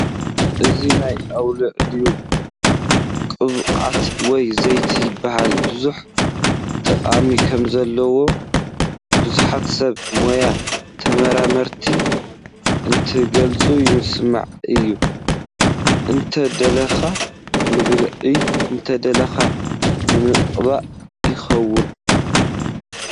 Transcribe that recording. እዚ ናይ ኣውሊዕ ቕብዓት ወይ ዘይቲ ይበሃል ብዙሕ ጠቕሚ ከምዘለዎ ብዙሓት ሰብ ሞያ ተመራመርቲ እንትገልፁ ይስማዕ እዩ ፡ እንተደሊኻ ንብልዒ እንተደሊኻ ንምቕባእ ይኸውን ።